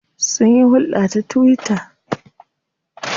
Sunyi hulɗa ta twitter.